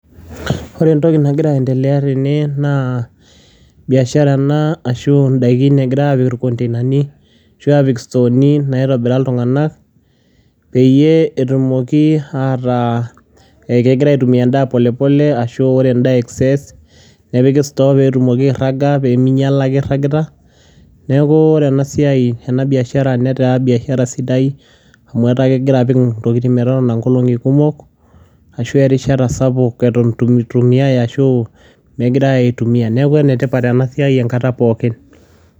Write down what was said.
ore entoki nagira aendelea tene naa biashara ena ashu idaikin egirae aapik irkonteinani ashu istooni naaitobira iltunganak. pee etumoki ataa ekigira aitumia edaa polepole ashu ore edaa excess nepiki store pee etumoki airaga pee mingiala ake iragita, neeku ore ena siai ena biashara netaa biashara sidai amu etaa kegira apik intokitin metotona nkolongi kumok ashu erishata sapuk eton eirtu itumiae ashu megirae aitumia. neku ene tipat ena siai enkata pookin.